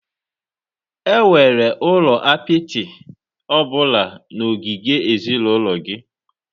Enwere ụlọ apịtị ọ bụla na ogige ezinụlọ gị?